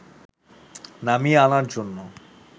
নামিয়ে আনার জন্য